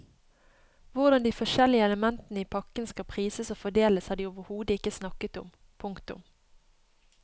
Hvordan de forskjellige elementene i pakken skal prises og fordeles har de overhodet ikke snakket om. punktum